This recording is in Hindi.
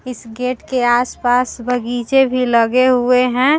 इस गेट के आस-पास बगीचे भी लगे हुए है ।